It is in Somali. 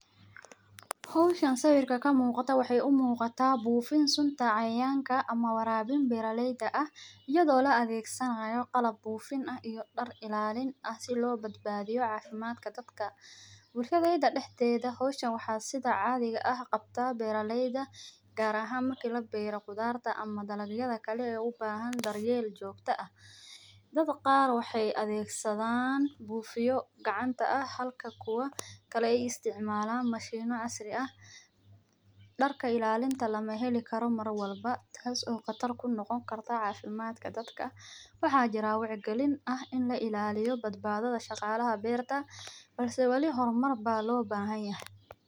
Howshan sawirka kamuqata waxey umuqataa buufin sunta cayayanka [c]ama[c] waraabin beraleyda ah iyadho laadhegsanayo qalab buufin ah iyo dar ilaalin ah so loo badbadhiyo cafimadka dadka. Bulsho weynta dexdedha howshani waxa qabto beraleyda gaar ahaan marki labero qudharta ama dalagyadha kale ee ubahan daryeel joogta ah. Dad qaar waxey adhegsadhan bufiyo gacanta ah. Halka kuwa kale ay istacmalaan mashimo casri ah. Darka ilalinta lamaheli karo mar walbo taas oo qatar kunoqon karto cafimadka dadka. waxa jiro wacyagelin dadka eh in lailaliyo badbadhadha shaqalaha berta balse wali homar baa loo bahanyahay.